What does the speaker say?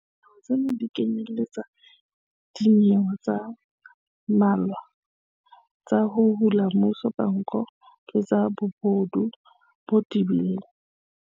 Dinyewe tsena di kenyeletsa dinyewe tse mmalwa tsa 'ho hula mmuso ka nko' le tsa bobodu bo tebileng.